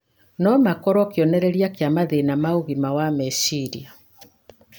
no makorũo kĩonereria kĩa mathĩna ma ũgima wa meciria.